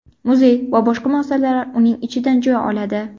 Muzey va boshqa muassasalar uning ichidan joy oladi.